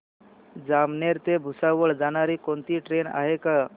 जामनेर ते भुसावळ जाणारी कोणती ट्रेन आहे का